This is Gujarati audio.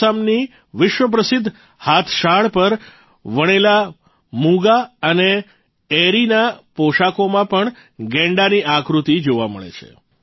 આસામની વિશ્વપ્રસિદ્ધ હાથશાળ પર વણેલા મૂંગા અને એરીના પોષાકોમાં પણ ગૈંડાની આકૃતિ જોવા મળે છે